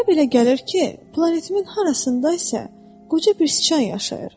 Mənə belə gəlir ki, planetimin harasında isə qoca bir sıçan yaşayır.